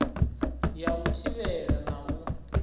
ya u thivhela na u